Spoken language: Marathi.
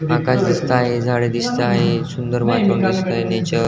आकाश दिसत आहे झाडे दिसत आहे सुंदर वातावरण दिसतय नेचर --